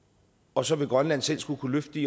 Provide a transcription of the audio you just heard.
og så vil grønland selv skulle kunne løfte